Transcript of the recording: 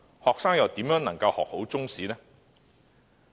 學生怎能學好中史？